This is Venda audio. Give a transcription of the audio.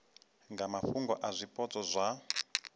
nga mafhungo a zwipotso zwa